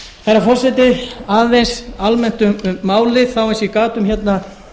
herra forseti aðeins almennt um málið þá eins og ég gat um hérna